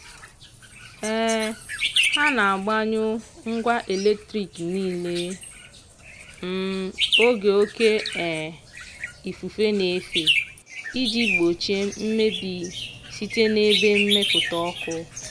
um ha na-agbanyụ ngwa eletrik niile um oge oke um ifufe na-efe iji gbochie mmebi site n'ebe mmepụta ọku.